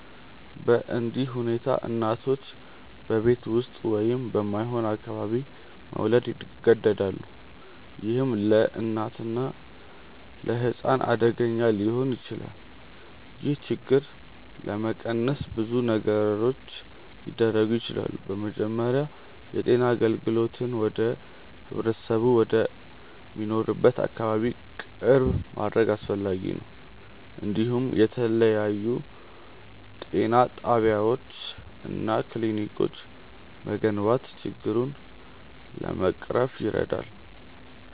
በእንዲህ ሁኔታ እናቶች በቤት ውስጥ ወይም በማይሆን አካባቢ መውለድ ይገደዳሉ፣ ይህም ለእናትና ለሕፃን አደገኛ ሊሆን ይችላል። ይህን ችግር ለመቀነስ ብዙ ነገሮች ሊደረጉ ይችላሉ። በመጀመሪያ የጤና አገልግሎትን ወደ ህብረተሰቡ ወደሚኖርበት አካባቢ ቅርብ ማድረግ አስፈላጊ ነው፤ እንዲሁም የተለያዩ ጤና ጣቢያዎች እና ክሊኒኮች መገንባት ችግሩን ለመቅረፍ ይረዳል።